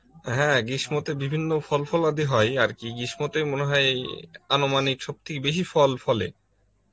হ্যাঁ গ্রীষ্মতে বিভিন্ন ফল ফলাদি হয় আর কি গ্রীষ্মতে মনে হয় অনমানিক সব থেকে বেশি ফল ফলে